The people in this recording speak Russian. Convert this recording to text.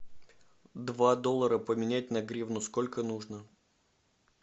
два доллара поменять на гривну сколько нужно